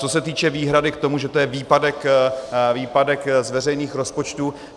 Co se týče výhrady k tomu, že to je výpadek z veřejných rozpočtů.